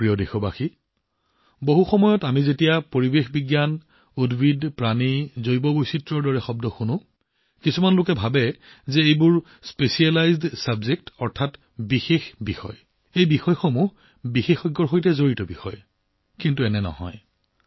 মোৰ প্ৰিয় দেশবাসী বহু সময়ত আমি পৰিৱেশ উদ্ভিদ আৰু প্ৰাণী জৈৱ বৈচিত্ৰ্য আদি শব্দ শুনিলে কিছুমান মানুহে এইবোৰ বিশেষ বিষয় বিশেষজ্ঞৰ সৈতে জড়িত বিষয় বুলি ভাবে কিন্তু সেয়া নহয়